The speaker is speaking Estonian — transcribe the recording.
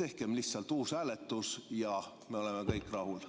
tehkem lihtsalt uus hääletus ja me oleme kõik rahul.